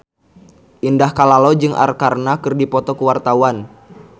Indah Kalalo jeung Arkarna keur dipoto ku wartawan